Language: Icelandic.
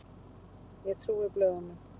Ég trúði blöðunum.